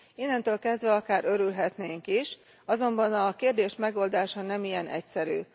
Innentől kezdve akár örülhetnénk is, azonban a kérdés megoldása nem ilyen egyszerű.